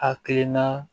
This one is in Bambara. Hakilina